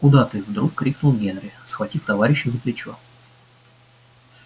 куда ты вдруг крикнул генри схватив товарища за плечо